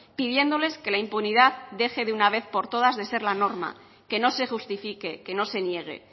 pidiéndoles que la impunidad deje de una vez por toda de ser la norma que no se justifique que no se niegue